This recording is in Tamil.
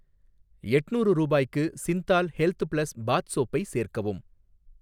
எட்ணூறு ரூபாய்க்கு சிந்தால் ஹெல்த் ப்ளஸ் பாத் சோப்பை சேர்க்கவும்